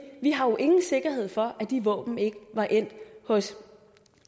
vi har jo ingen sikkerhed for at de våben ikke var endt hos